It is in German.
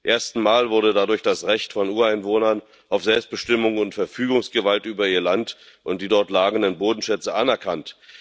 Zum ersten Mal wurde dadurch das Recht von Ureinwohnern auf Selbstbestimmung und Verfügungsgewalt über ihr Land und die dort lagernden Bodenschätze anerkannt.